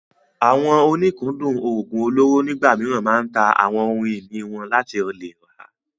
Àwọn oníkúndùn oògùn olóró nígbà mìíràn máa ń ta àwọn ohun ìní wọn láti lè rà á.